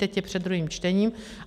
Teď je před druhým čtením.